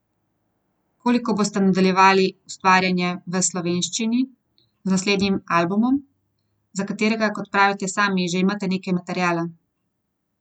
Pri tem se znova pojavlja vprašanje, komu so posthumni albumi namenjeni?